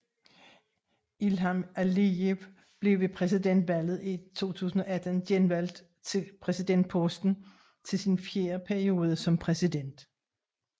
Ilham Alijev blev ved præsidentvalget i 2018 genvalgt til præsidentposten til sin fjerde periode som præsident